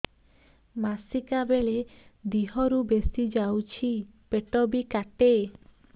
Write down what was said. ମାସିକା ବେଳେ ଦିହରୁ ବେଶି ଯାଉଛି ପେଟ ବି କାଟେ